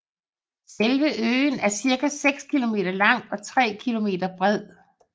Selve øen er cirka 6 km lang og 3 km bred